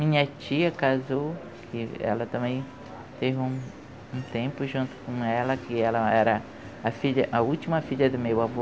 Minha tia casou, e ela também teve um um tempo junto com ela, que ela era a filha a última filha do meu avô.